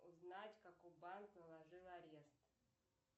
узнать какой банк наложил арест